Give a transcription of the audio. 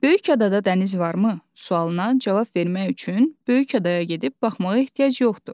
Böyük adada dəniz varmı sualına cavab vermək üçün böyük adaya gedib baxmağa ehtiyac yoxdur.